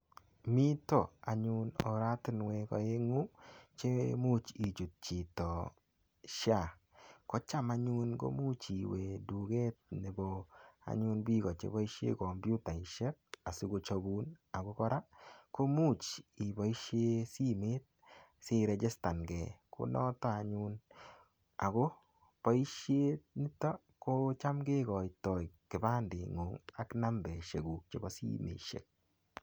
Mito anyun oratinwek oeng'u cheimuuch ichutu chito SHA kocham anyun ko muuch iwe duket nebo anyun biko cheboishe komputaishek asikochobun ako kora ko muuch iboishe simet siregistangei ko noto anyun ako boishet nito ko cham kekoitoi kipanding'ung' ak nambeshekuk chebo sineshek